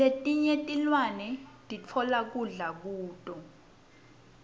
letinye tilwane sitfola kudla kuto